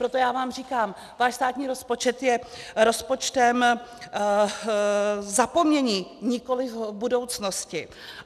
Proto já vám říkám - váš státní rozpočet je rozpočtem zapomnění, nikoliv budoucnosti.